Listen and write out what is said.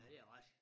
Ja det er rigtig